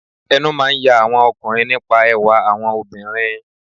Ẹnu máà ń ya àwọn ọkùnrin nípa ẹwà àwọn obìnrin.